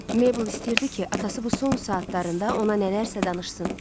Meybəl istəyirdi ki, atası bu son saatlarında ona nələrsə danışsın.